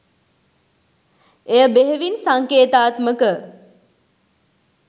එය බෙහෙවින් සංකේතාත්මක